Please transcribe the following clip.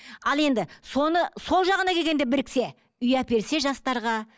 ал енді соны сол жағына келгенде біріксе үй әперсе жастарға